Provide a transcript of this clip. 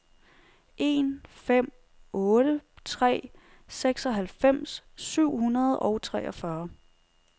en fem otte tre seksoghalvfems syv hundrede og treogfyrre